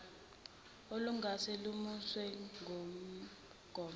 olungase lumiswe ngumgomo